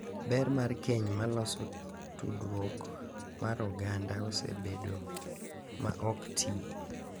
Ber mar keny ma loso tudruok mar oganda osebedo ma ok ti,